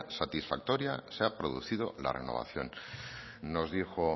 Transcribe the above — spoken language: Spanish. satisfactoria se ha producido la renovación nos dijo